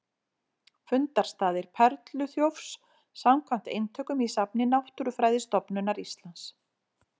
Fundarstaðir perluþjófs samkvæmt eintökum í safni Náttúrufræðistofnunar Íslands.